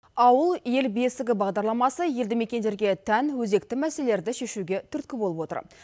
ауыл ел бесігі бағдарламасы елді мекендерге тән өзекті мәселелерді шешуге түрткі болып отыр